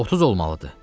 30 olmalıdır.